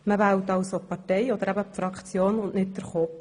Man wählt also die Partei oder die Fraktion, nicht den Kopf.